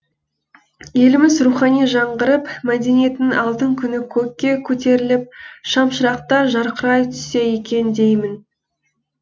еліміз рухани жаңғырып мәдениеттің алтын күні көкке көтеріліп шамшырақтар жарқырай түссе екен деймін